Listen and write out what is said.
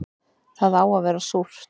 Það á að vera súrt